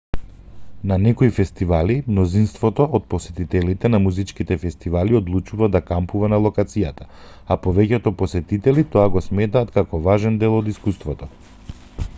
на некои фестивали мнозинството од посетителите на музичките фестивали одлучува да кампува на локацијата а повеќето посетители го сметаат тоа како важен дел од искуството